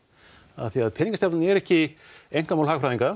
af því að peningastefnan er ekki einkamál hagfræðinga